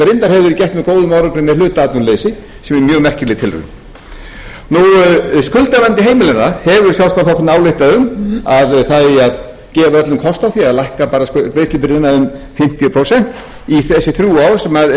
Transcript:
með hluta atvinnuleysi sem er mjög merkileg tilraun skuldavanda heimilanna hefur sjálfstæðisflokkurinn ályktað um að það eigi að gefa öllum kost á því að lækka bara um fimmtíu prósent í þessi þrjú ár sem eru